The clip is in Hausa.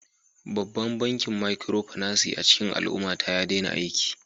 Babban bankin Micropinaci a cikin al'ummata ya daina aiki